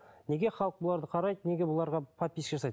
неге халық бұларды қарайды неге бұларға подписчик жасайды